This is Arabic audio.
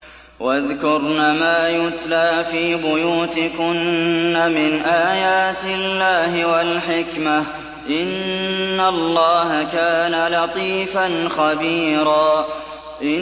وَاذْكُرْنَ مَا يُتْلَىٰ فِي بُيُوتِكُنَّ مِنْ آيَاتِ اللَّهِ وَالْحِكْمَةِ ۚ إِنَّ اللَّهَ كَانَ لَطِيفًا خَبِيرًا